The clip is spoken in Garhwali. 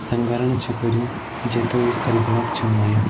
संगरण छ कर्युं जेते वू ख़रीदणक छन आयां।